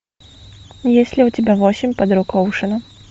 есть ли у тебя восемь подруг оушена